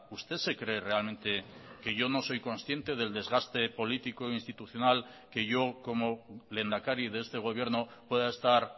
usted se cree realmente que yo no soy consciente del desgaste político institucional que yo como lehendakari de este gobierno pueda estar